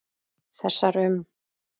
Þessar um